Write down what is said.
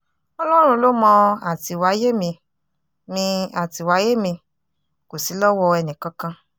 ọlọ́run ló mọ àtìwáyé mi mi àtìwáyé mi kò sí lọ́wọ́ ẹnìkankan